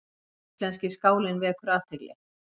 Íslenski skálinn vekur athygli